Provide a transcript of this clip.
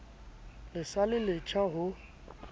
le sa le letjha ho